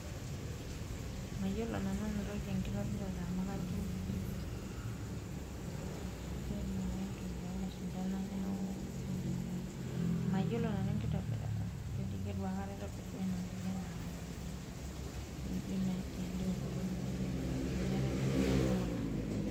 Mayiolo nanu enatoki enkitobirata amu kajo naake entoki oolashumba ena neeku mayiolo nanu enkitobirata amu ijo itu aikata aitobirr duo ena toki enaa apa amu ijo endalo e ukoloni iyiook king'uaa neeku eton meetai ntokitin naijo kuna.